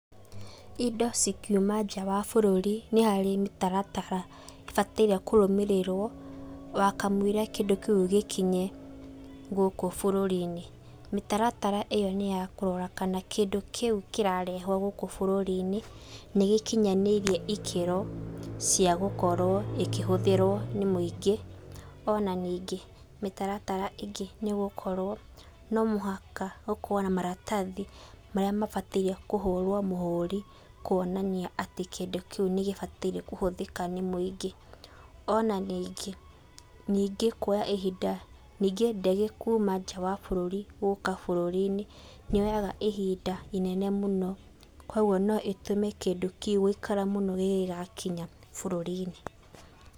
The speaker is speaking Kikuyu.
Indo cikiuma nja wa bũrũri nĩ harĩ mĩtaratara ĩbataire kũrũmĩrĩrwo, wakamũira kĩndũ kĩũ gĩkinye gũkũ bũrũri-inĩ. Mĩtaratara ĩyo nĩ ya kũrora kana kĩndũ kĩũ kĩrarehwo gũkũ bũrũri-inĩ nĩ gĩkinyanĩirie ikĩro cia gũkorwo ĩkĩhũthĩrwo nĩ mũingĩ, ona ningĩ mĩtaratara ingĩ nĩ gũkorwo no mũhaka ũkorwo maratathi marĩa mabataire kũhũrwo mũhũri, kuonania atĩ kĩndũ kĩu nĩ gĩbataire kũhũthĩrwo nĩ mũingĩ. Ona ningĩ, nĩngĩ kuoya ihinda, ningĩ ndege gũũka ihinda gũka bũrũri-inĩ , nĩ yoyaga ihinda rĩnene mũno. Koguo no ĩtũme kĩndũ kĩu gũikara mũno kĩngĩgakinya bũrũri-inĩ.